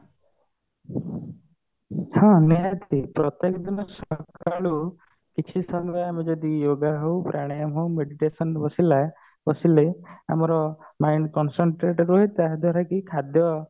ହଁ ଆମେ ପ୍ରତ୍ୟେକ ଦିନ ସକାଳୁ କିଛି ସମୟ ଆମେ ଯଦି yoga ହଉ ପ୍ରାଣାୟାମ ହଉ meditation ରେ ବସିଲା ବସିଲେ ଆମର mind concentrate ହୁଏ ତାହା ଦ୍ଵାରା କି ଖାଦ୍ୟ